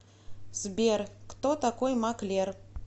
сбер кто такой маклер